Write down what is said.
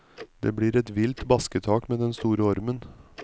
Det blir et vilt basketak med den store ormen.